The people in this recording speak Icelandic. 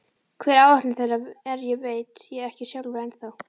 Hver áætlun þeirra er veit ég ekki sjálfur ennþá.